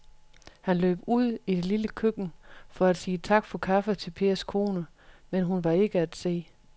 Han løb ud i det lille køkken for at sige tak for kaffe til Pers kone, men hun var ikke til at se.